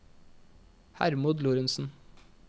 Hermod Lorentsen